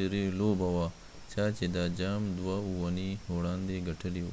اخري لوبه وه ،چا چې دا جام دوه اونۍ وړاندې ګټلی و